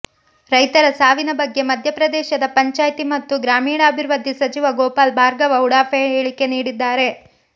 ರೈತರ ಸಾವಿನ ಬಗ್ಗೆ ಮಧ್ಯಪ್ರದೇಶದ ಪಂಚಾಯ್ತಿ ಮತ್ತು ಗ್ರಾಮೀಣಾಭಿವೃದ್ಧಿ ಸಚಿವ ಗೋಪಾಲ್ ಭಾರ್ಗವ ಉಡಾಫೆ ಹೇಳಿಕೆ ನೀಡಿದ್ದಾರೆ